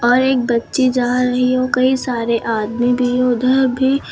और एक बच्ची जा रही है और कई सारे आदमी भी है उधर भी--